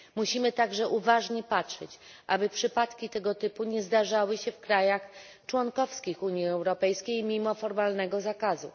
Musimy także dopilnować, aby przypadki tego typu nie zdarzały się w krajach członkowskich Unii Europejskiej mimo formalnego zakazu.